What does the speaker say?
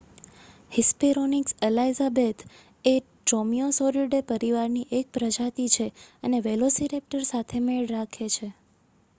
Hesperonychus elizabethae એ Dromaeosauridae પરિવારની એક પ્રજાતિ છે અને વેલોસિરૅપ્ટર સાથે મેળ રાખે છે